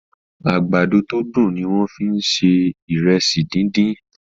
àgbàdo to dùn ní wón fí ń ṣe Ìrẹsí dín dín.